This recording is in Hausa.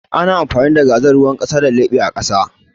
Ana amfani da gazal ruwan ƙasa a leɓe da gira